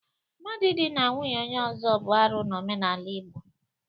Mmadụ idina nwunye onye ọzọ bụ arụ n'omenala Igbo.